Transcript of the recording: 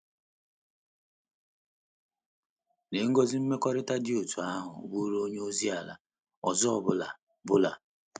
Lee ngọzi mmekọrịta dị otú ahụ bụụrụ onye ozi ala ọzọ ọ bụla bụla!